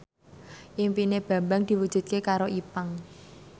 impine Bambang diwujudke karo Ipank